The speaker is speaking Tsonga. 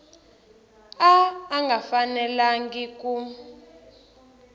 a a nga fanelangi ku